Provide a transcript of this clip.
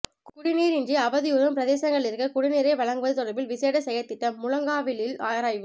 குடிநீரின்றி அவதியுறும் பிரதேசங்களிற்கு குடிநிரை வழங்குவது தொடர்பில் விசேட செயற்திட்டம் முழங்காவிலில் ஆராய்வு